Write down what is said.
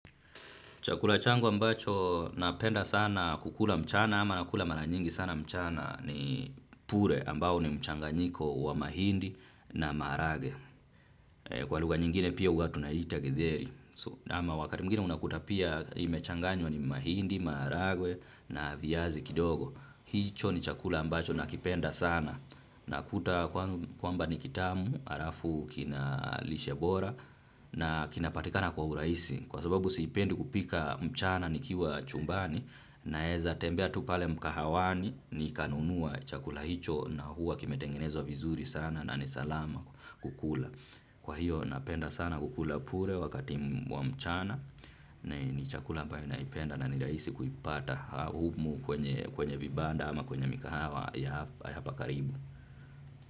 Chakula changu ambacho napenda sana kukula mchana ama nakula mara nyingi sana mchana ni pure, ambayo ni mchanganyiko wa mahindi na maharagwe. Kwa lugha nyingine pia huwa tunaita githeri. Ama wakati mgwingine unakuta pia imechanganywa na mahindi, maharagwe na viazi kidogo. Hicho ni chakula ambacho nakipenda sana. Nakuta kwamba ni kitamu, alafu kina lishebora na kinapatikana kwa urahisi. Kwasababu sipendi kupika mchana nikiwa chumbani, naweza tembea tupale mkahawani nikanunua chakula hicho na huwa kimetengenezwa vizuri sana na nisalama kukula. Kwa hiyo napenda sana kukula pure wakati wa mchana na ni chakula ambae naipenda na ni raisi kuipata humu kwenye vibanda ama kwenye mikahawa ya hapa karibu.